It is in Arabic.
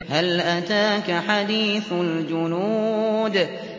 هَلْ أَتَاكَ حَدِيثُ الْجُنُودِ